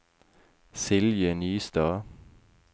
Silje Nystad